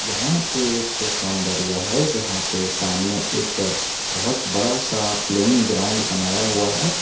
यहां पर एक सौंदर्य है जहां पर सामने एक बहुत बड़ा सा प्लेयिंग ग्राउंड बनाया हुआ है।